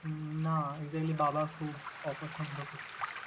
উম না, exactly বাবা খুব অপছন্দ করতো।